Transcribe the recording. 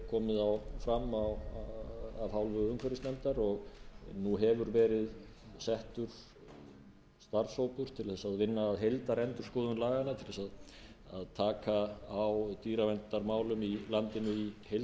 komið hér fram af hálfu umhverfisnefndar og nú hefur verið settur starfshópur til þess að vinna að heildarendurskoðun laganna til þess að taka á dýraverndarmálum í landinu í heild sinni